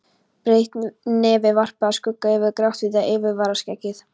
Breitt nefið varpaði skugga yfir gráhvítt yfirvaraskeggið.